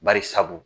Bari sabu